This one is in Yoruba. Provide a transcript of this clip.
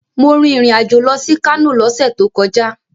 Mo rìn ìrìn-àjò lọ sí Kano lọ́sẹ̀ tó kọjá.